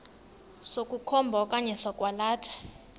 sokukhomba okanye sokwalatha